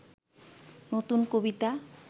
নতুন কবিতা